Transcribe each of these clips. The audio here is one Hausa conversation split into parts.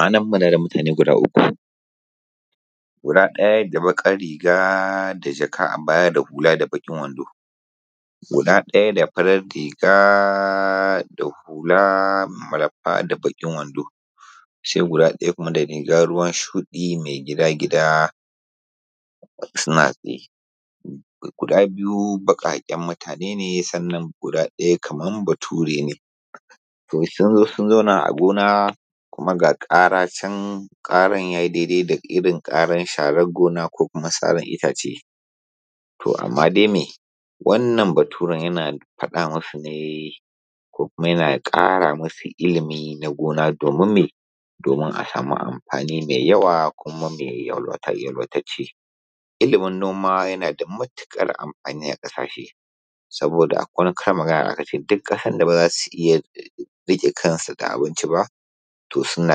A nan muna da mutane guda uku, guda ɗaya da baƙar riga da jaka da hula da bakin wando. Guda ɗaya da farar riga da hula malfa da bakin wando. Sai ɗayan da riga ruwan shuɗi mai gida gida suna tsaye, guda biyu baƙaken mutane ne sai ɗaya kamar bature ne. Sun zo sun zauna a gona kuma ga ƙara ce ƙaran yayi irin na sharar gona ko kuma sarar itace. Wanna baturen yana faɗa maka ne ko kuma yana kara musu ilimi na gona domin a sama amfni mai yawa kuma yalwatacce. Ilimin noma yana da matuƙar amfani a ƙasashe. Da akwai wani karin magana da aka ce, duk ƙasar da ba za su iya ciyar da kansu da abinci ba, to suna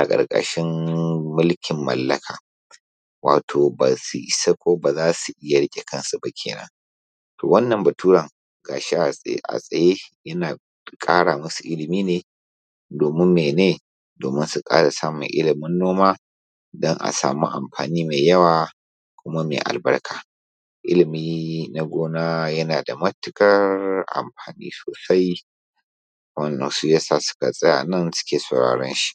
ƙarƙashin mulkin mallaka. Wato ba sun isa ba ko ba za su iya riƙe kansu ba kenan. To wannan bature ga shi a tsaye yana ƙara masu ilimi ne domin mene domin sunkara samu ilimin noma din a sama amfani mainyawa kuma mai albarka. Ilimi na gona yana da matuƙar amfani sosai wanda shi yasa suka tsaya nan suke sauraran shi.